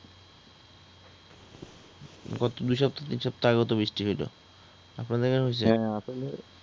গত দুই সপ্তাহ তিন সপ্তাহ আগেও তো বৃষ্টি হইলো । আপনাদের এইখানে হইসে? হ্যা আসলে